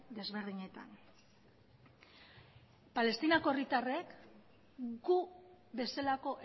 desberdinetan palestinako herritarrek gu bezalako